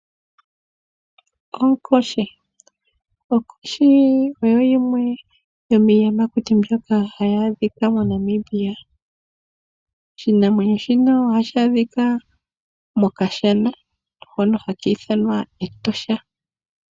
Oonkoshi Onkoshi osho shimwe shomiiyamakuti mbyoka hayi adhika moNamibia. Oshinamwenyo shino ohashi adhika mokashana hono haki ithanwa Etosha.